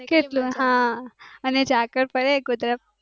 કેટલું હા અને જકાળ પડે કુદરત